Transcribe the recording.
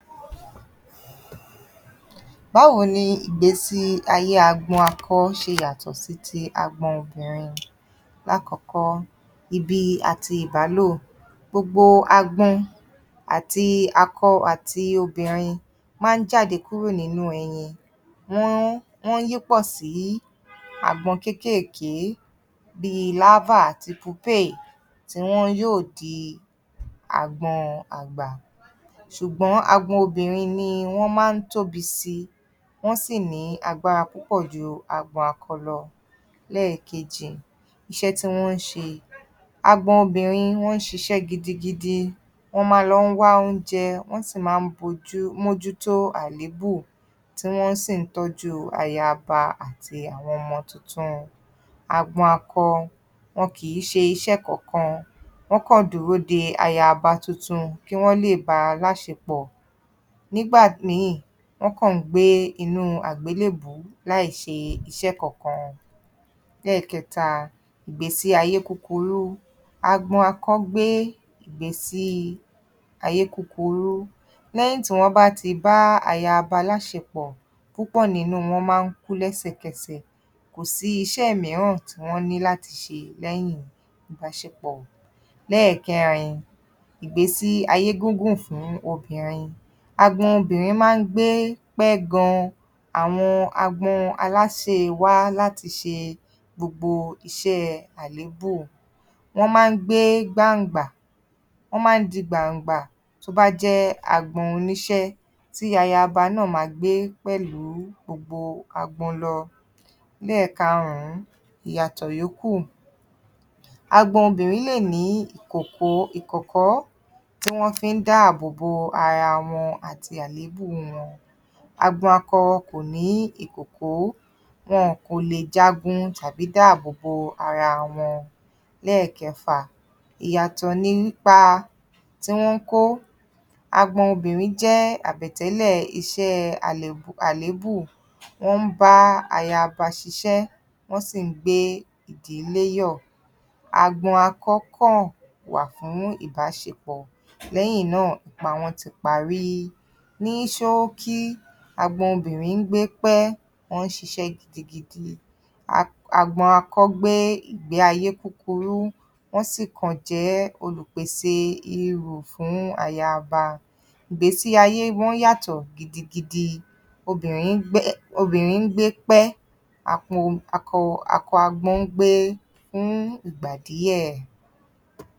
Báwo ni ìgbésí-ayé agbọn akọ ṣe yàtọ̀ sí ti agbọn obìnrin? Lákọ̀ọ́kọ́, ibi àti ìbálò. Gbogbo agbọn àti akọ àti obìnrin máa ń jáde kúrò nínú ẹyin. Wọ́n, wọ́n ń yípọ̀ sí agbọn kéékèèké bíi larva àti pupéè tí wọn yóò di agbọn àgbà. Ṣùgbọ́n agbọn obìnrin ni wọ́n máa ń tóbi síi, wọ́n sì ní agbára púpọ̀ ju agbọn akọ lọ. Lẹ́ẹ̀kejì, iṣẹ́ tí wọ́n ń ṣe. Agbọn obìnrin wọ́n ń ṣiṣẹ́ gidigidi. Wọ́n máa lọ ń wá oúnjẹ, wọ́ sì máa ń bojú, mójú tó àléébù, tí wọ́n sì ń tọ́jú ayaba àti awọn ọmọ tuntun. Agbọn akọ, wọn kìí ṣe iṣẹ́ kankan. Wọ́n kan dúró de ayaba tuntun kí wọ́n lè bá a láṣepọ̀. Nígbà míì, wọ́n kàn ń gbé inú àgbélébùú láì ṣe iṣẹ́ kankan. Lẹ́ẹ̀kẹta, ìgbésí-ayé kúkúrú. Agbọn akọ gbé ìgbésí-ayé kúkurú. Lẹ́yìn tí wọ́n bá ti bá ayaba láṣepọ̀, púpọ̀ nínú wọn máa ń kú lẹ́sẹ̀kẹsẹ̀. Kò sí iṣẹ́ mìíràn tí wọ́n ní láti ṣe lẹ́yìn ìbáṣepọ̀. Lẹ́ẹ̀kẹrin, ìgbésí-ayé gúngùn fún obìnrin. Agbọn obìnrin máa ń gbé pẹ́ gan-an. Àwọn agbọn aláse wá láti ṣe gbogbo iṣẹ́ àléébù. Wọ́n máa ń gbé gbàngbà, wọ́n máa ń di gbàǹgbà tó á jẹ́ agbọn oníṣẹ́ tí ayaba náà máa gbé pẹ̀lú gbogbo agbọn lọ. Lẹ́ẹ̀karùn-ún, ìyàtọ̀ yòókù. Agbọn obìnrin lè ní ìkòkò, ìkọ̀kọ́ tí wọ́n fi ń dáàbò bo ara wọn àti àléébù wọn. Agbọn akọ kò ní ìkòkó, wọn kò lè jagun tàbí dáàbò bo ara wọn. Lẹ́ẹ̀kẹfà, ìyàtọ̀ nípa tí wọ́n kó. Agbọn obìnrin jẹ́ àbẹ̀tẹ́lẹ̀ iṣẹ́ alè, àléébù. Wọ́n ń bá ayaba ṣiṣẹ́ wọ́n sì ń gbé ìdílé yọ̀. Agbọn akọ kàn wà fún ìbáṣepọ̀, lẹ́yìn náà, ipa wọn ti parí. Ní ṣóókí, agbọn obìnrin ń gbé pẹ́, wọ́n ń ṣiṣẹ́ gidigidi. Agbọn akọ gbe ìgbé ayé kúkurú, wọ́n sì kàn jẹ́ olùpèsè irù fún ayaba. Ìgbésí-ayé wọn yàtọ̀ gidigidi. Obìnrin ń gbẹ́, obìnrin ń gbé pẹ́. Akọ agbọn ń gbé fún ìgbà díẹ̀.